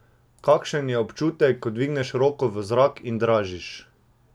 Kakšen je občutek, ko dviguješ roko v zrak in dražiš?